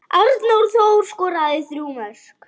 Arnór Þór skoraði þrjú mörk.